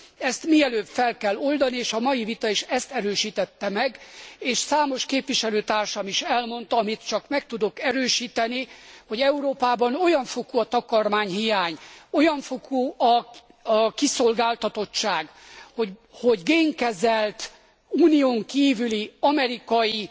Ezt mielőbb fel kell oldani és a mai vita is ezt erősítette meg, és számos képviselőtársam is elmondta, amit csak meg tudok erősíteni, hogy Európában olyan fokú a takarmányhiány, olyan fokú a kiszolgáltatottság, hogy génkezelt, Unión kívüli, amerikai